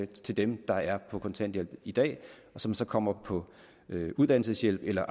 til dem der er på kontanthjælp i dag og som så kommer på uddannelseshjælp eller